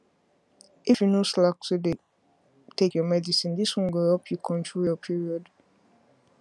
if you no slack to dey take your medicine this one go help you control your period